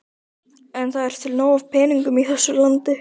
En það er til nóg af peningum í þessu landi.